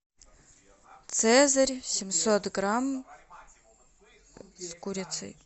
цезарь семьсот грамм с курицей